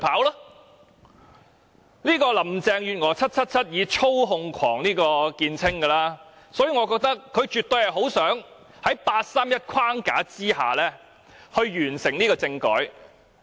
"777" 林鄭月娥以操控狂見稱，所以我認為她絕對很想在八三一框架下完成政改。